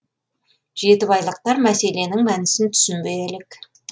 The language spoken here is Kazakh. жетібайлықтар мәселенің мәнісін түсінбей әлек